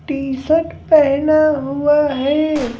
T-shirt पहना हुआ है।